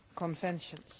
conventions.